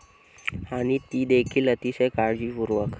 आणि तीदेखील अतिशय काळजीपूर्वक!